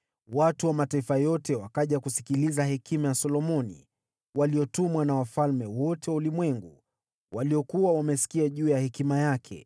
Watu wa mataifa yote wakaja kusikiliza hekima ya Solomoni, waliotumwa na wafalme wote wa ulimwengu, waliokuwa wamesikia juu ya hekima yake.